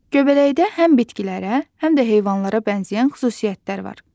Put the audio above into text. Göbələkdə həm bitkilərə, həm də heyvanlara bənzəyən xüsusiyyətlər var.